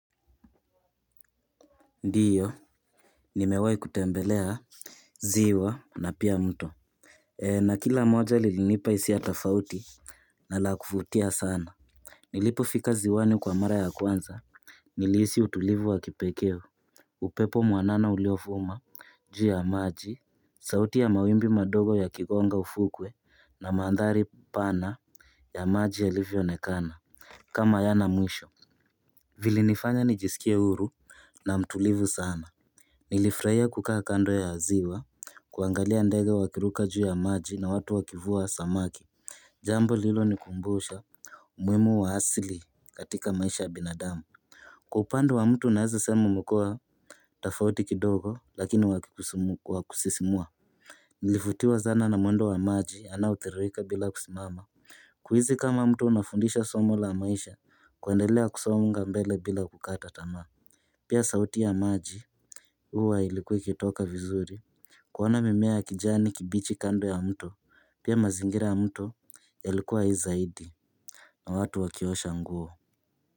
Ndio. Nimewahi kutembelea Ziwa na pia mto na kila moja lilinipa hiisia tofauti na la kuvutia sana. Nilipo fika ziwani kwa mara ya kwanza nilihisi utulivu wa kipekee. Upepo mwanana uliovuma juu ya maji. Sauti ya mawimbi madogo yakigonga ufukwe na maandhari pana ya maji yalivyo onekana kama hayana mwisho. Vili nifanya nijisikie huru na mtulivu sana. Nilifurahia kukaa kando ya ziwa kuangalia ndege waki ruka juu ya maji na watu wakivua samaki. Jambo lililo nikumbusha umuhimu wa asili katika maisha ya binadamu. Kwa upande wa mtu naeza sema umekuwa tofauti kidogo lakini wa kusisimua. Nilivutiwa sana na mwendo wa maji anao tiririka bila kusimama. Kuhisi kama mtu unafundishwa somo la maisha kuendelea kusonga mbele bila kukata tamaa. Pia sauti ya maji huwa ilikuwe kitoka vizuri. Kuona mimea ya kijani kibichi kando ya mto. Pia mazingira ya mto yalikuwa hai zaidi na watu wakiosha nguo.